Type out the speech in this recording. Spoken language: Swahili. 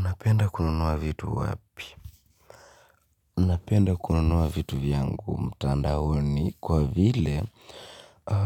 Napenda kununua vitu wapi? Napenda kununua vitu vyangu mtandaoni kwa vile